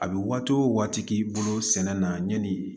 A bɛ waati o waati k'i bolo sɛnɛ na yanni